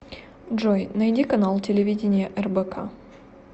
джой найди канал телевидения рбк